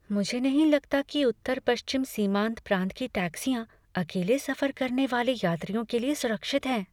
मुझे नहीं लगता कि उत्तर पश्चिम सीमांत प्रांत की टैक्सियाँ अकेले सफर करने वाले यात्रियों के लिए सुरक्षित हैं।